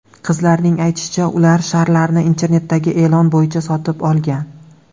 Qizlarning aytishicha, ular sharlarni internetdagi e’lon bo‘yicha sotib olgan.